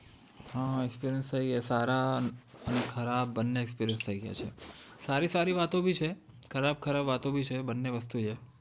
હા experience થઇ ગયો છે સારા અને ખરાબ બંને experience થઇ ગયા છે સારી સારી વાતો બી છે ખરાબ ખરાબ વાતો બી છે બંને વસ્તુ છે